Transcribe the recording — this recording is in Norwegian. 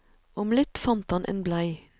Om litt fant han en blei.